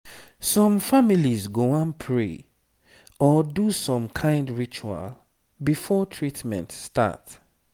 some families go wan pray or do some kind ritual before treatment start